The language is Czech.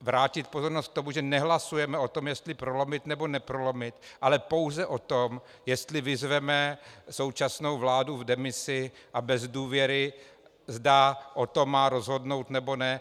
vrátit pozornost k tomu, že nehlasujeme o tom, jestli prolomit, nebo neprolomit, ale pouze o tom, jestli vyzveme současnou vládu v demisi a bez důvěry, zda o tom má rozhodnout, nebo ne.